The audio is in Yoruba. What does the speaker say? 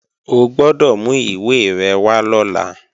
O gbọ́dọ̀ mú ìwé rẹ̀ wá lọ́la!